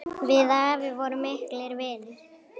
Við afi vorum miklir vinir.